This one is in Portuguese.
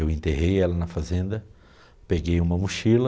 Eu enterrei ela na fazenda, peguei uma mochila.